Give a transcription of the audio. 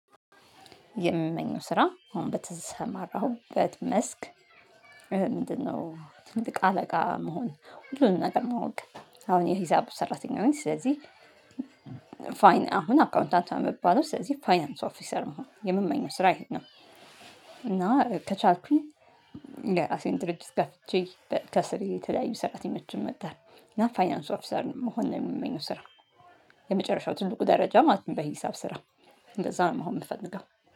የምመኘው ስራ አሁን በተሰማራሁበት መስክ ምንድነው ትልቅ አለቃ መሆን፤ ሁሉንም ነገር ማወቅ። አሁን የሂሳብ ሰራተኛ ነኝ። ስለዚህ ፋይን አሁን አካውንታንት ነው የምባለው። ስለዚህ ፋይናንስ ኦፊሰር መሆን የምመኘው ስራ ይሄን ነው። እና ከቻልኩኝ የራሴን ድርጅት ከፍቼ ከስር የተለያዩ ሰራተኞችን መቅጠር እና ፋይናንስ ኦፊሰር መሆን ነው የምመኘው ስራ። የመጨረሻው ትልቁ ደረጃ ማለት ነው በሂሳብ ስራ። እንደዛ ነው መሆን የምፈልገው።